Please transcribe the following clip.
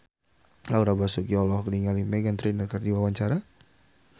Laura Basuki olohok ningali Meghan Trainor keur diwawancara